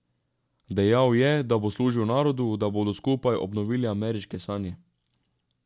Dejal je, da bo služil narodu, da bodo skupaj obnovili ameriške sanje.